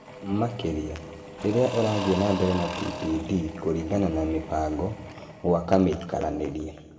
Makĩria, rĩrĩa ũrathiĩ na mbere na TPD kũringana na mĩbango, gwaka mĩikaranĩrie.